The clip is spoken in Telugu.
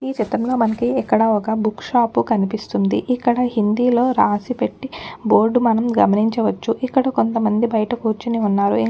ఈ చిత్రంలో మనకి ఇక్కడ ఒక్క బుక్ షాప్ కనిపిస్తుందిఇక్కడ హిందీలో రాసిపెట్టి బోర్డ్ మనం గమనించవచ్చుఇక్కడ కొంతమంది బయట కుర్చొని ఉన్నారుఇంకా ఒక్క.